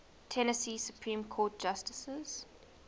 tennessee supreme court justices